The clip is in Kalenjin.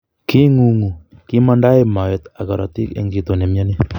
Kiingungu, kimaandae moet ak korotik eng chito ne miani